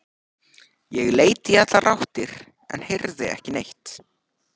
Ég leit í allar áttir en heyrði ekki neitt.